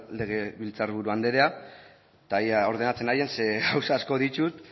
legebiltzar buru anderea eta ea ordenatzen naizen ze gauza asko ditut